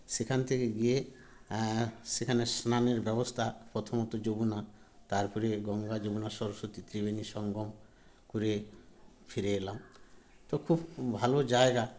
সেখান থেকে গিয়ে এ সেখানে স্নানের ব্যবস্থা প্রথমত যমুনা তারপরে গঙ্গা যমুনা সরস্বতী ত্রিবেনী সঙ্গম করে ফিরে এলাম তো খুব ভালো জায়গা